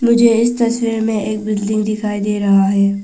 मुझे इस तस्वीर में एक बिल्डिंग दिखाई दे रहा है।